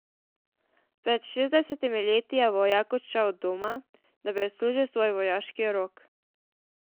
Pred šestdesetimi leti je vojak odšel od doma, da bi odslužil svoj vojaški rok.